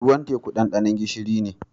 Ruwan teku dandano gishiri ne.